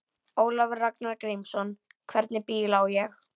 Ólafur Ragnar Grímsson: Hvernig bíl á ég?